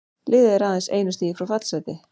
Liðið er aðeins einu stigi frá fallsæti.